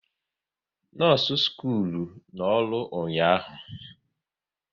Nọọsụ skuulu nọ ọrụ ụnyaahụ